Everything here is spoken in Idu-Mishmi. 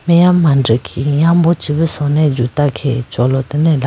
meya mandikhi yambo che bhi sone juta khege cholotene aya.